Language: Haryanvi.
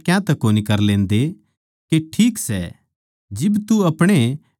थम खुद फैसला क्यातै कोनी कर लेंदे के ठीक सै